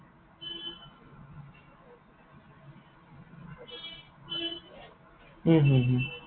হম হম হম